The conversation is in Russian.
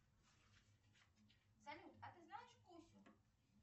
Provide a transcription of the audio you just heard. салют а ты знаешь кусю